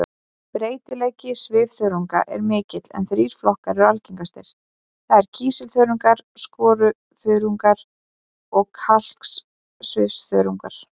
Breytileiki svifþörunganna er mikill en þrír flokkar eru algengastir, það er kísilþörungar, skoruþörungar og kalksvifþörungar.